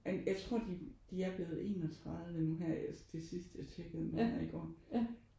Jeg tror de de er blevet 31 nu her til sidst jeg tjekkede det nemlig i går